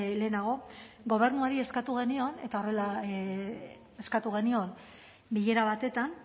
lehenago gobernuari eskatu genion eta horrela eskatu genion bilera batetan